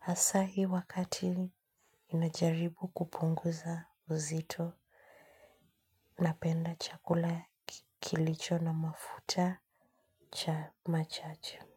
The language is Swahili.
Asa hii wakati inajaribu kupunguza uzito. Napenda chakula kilicho na mafuta cha machache.